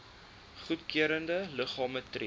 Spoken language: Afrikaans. goedgekeurde liggame tree